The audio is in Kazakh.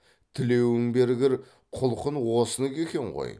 тілеуің бергір құлқын осыныкі екен ғой